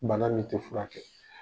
Bananin tɛ fura kɛ